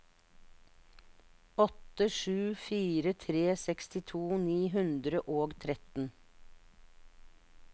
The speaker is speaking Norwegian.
åtte sju fire tre sekstito ni hundre og tretten